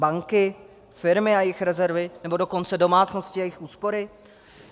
Banky, firmy a jejich rezervy, nebo dokonce domácnosti a jejich úspory?